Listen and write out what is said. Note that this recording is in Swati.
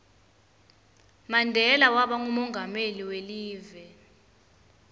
mandela waba ngumonqameli welive